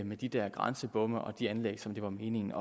med de der grænsebomme og de anlæg som det var meningen